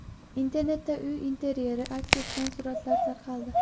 Internetda uy interyeri aks etgan suratlar tarqaldi.